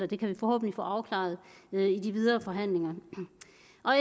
det kan vi forhåbentlig få afklaret i de videre forhandlinger